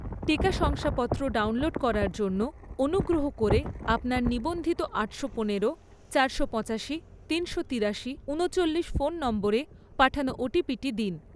টিকা শংসাপত্র ডাউনলোড করার জন্য, অনুগ্রহ করে আপনার নিবন্ধিত আটশো পনেরো, চারশো পঁচাশি, তিনশো তিরাশি, ঊনিচল্লিশ ফোন নম্বরে পাঠানো ওটিপি দিন